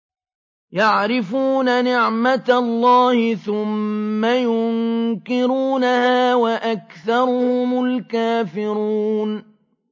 يَعْرِفُونَ نِعْمَتَ اللَّهِ ثُمَّ يُنكِرُونَهَا وَأَكْثَرُهُمُ الْكَافِرُونَ